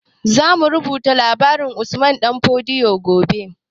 Zamu rubuta labarin usman ɗan fodio gobe